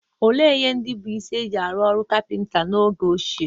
Olee ihe ndị bụ́ isi e ji arụ ọrụ kapịnta n'oge ochie?